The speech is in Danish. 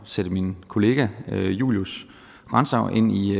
sætte min kollega julius grantzau ind i